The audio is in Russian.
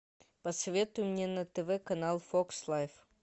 посоветуй мне на тв канал фокс лайф